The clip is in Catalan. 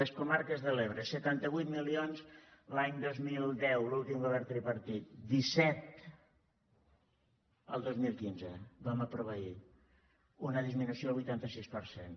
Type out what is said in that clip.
les comarques de l’ebre setanta vuit milions l’any dos mil deu l’últim govern tripartit disset el dos mil quinze ho vam aprovar ahir una disminució del vuitanta sis per cent